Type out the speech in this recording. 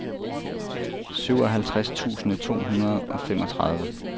syvoghalvtreds tusind to hundrede og femogtredive